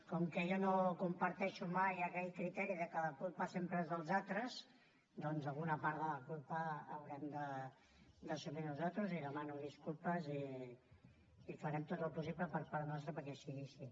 com que jo no comparteixo mai aquell criteri que la culpa sempre és dels altres doncs alguna part de la culpa haurem d’assumir nosaltres i demano disculpes i farem tot el possible per part nostra perquè sigui així